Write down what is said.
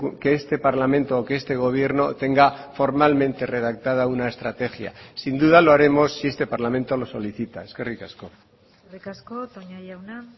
que este parlamento o que este gobierno tenga formalmente redactada una estrategia sin duda lo haremos si este parlamento lo solicita eskerrik asko eskerrik asko toña jauna